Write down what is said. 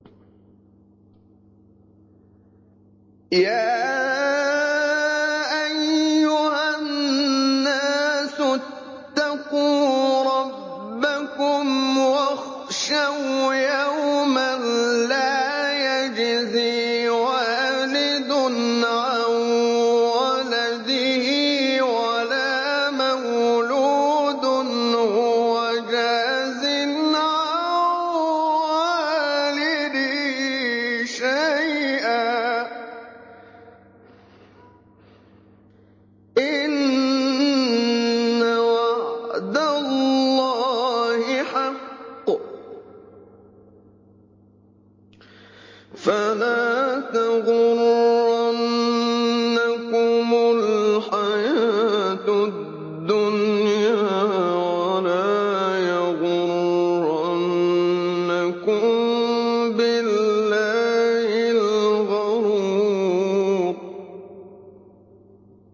يَا أَيُّهَا النَّاسُ اتَّقُوا رَبَّكُمْ وَاخْشَوْا يَوْمًا لَّا يَجْزِي وَالِدٌ عَن وَلَدِهِ وَلَا مَوْلُودٌ هُوَ جَازٍ عَن وَالِدِهِ شَيْئًا ۚ إِنَّ وَعْدَ اللَّهِ حَقٌّ ۖ فَلَا تَغُرَّنَّكُمُ الْحَيَاةُ الدُّنْيَا وَلَا يَغُرَّنَّكُم بِاللَّهِ الْغَرُورُ